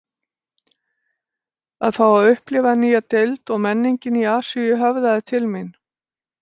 Að fá að upplifa nýja deild og menningin í Asíu höfðaði til mín